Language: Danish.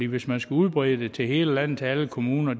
hvis man skal udbrede det til hele landet til alle kommuner